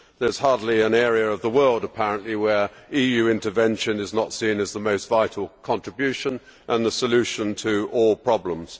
There is hardly an area of the world, apparently, where EU intervention is not seen as the most vital contribution and the solution to all problems.